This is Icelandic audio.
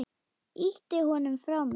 Ýti honum frá mér.